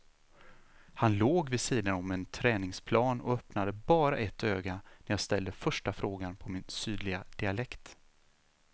Han låg vid sidan om en träningsplan och öppnade bara ett öga när jag ställde första frågan på min sydliga dialekt.